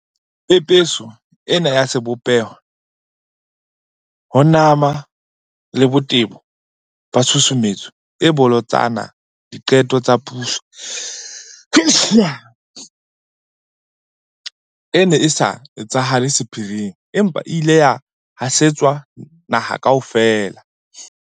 Pepeso ena ya sebopeho, ho nama le botebo ba tshusumetso e bolotsana diqetong tsa puso e ne e sa etsahale sephiring, empa e ile ya hasetswa naha kaofela.